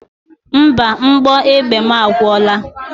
Mba, mgbọ egbe mụ agwụla.